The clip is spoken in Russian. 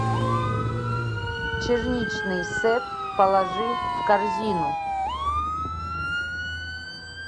черничный сет положи в корзину